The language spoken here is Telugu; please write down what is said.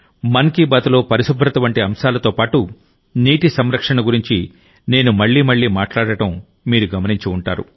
మన్ కీ బాత్లో పరిశుభ్రత వంటి అంశాలతో పాటు నీటి సంరక్షణ గురించి నేను మళ్ళీ మళ్ళీ మాట్లాడటం మీరు గమనించి ఉంటారు